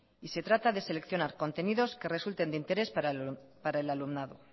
y se trata de seleccionar contenidos que resulten de interés para el alumnado